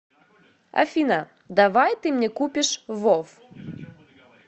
афина давай ты мне купишь вов